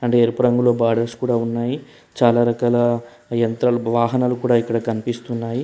అంటే ఎరపు రంగులో బార్డర్స్ కూడా ఉన్నాయి చాలా రకాల యంత్రలు వాహనాలు కూడా ఇక్కడ కనిపిస్తున్నాయి.